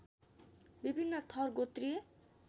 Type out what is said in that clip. विभिन्न थर गोत्रीय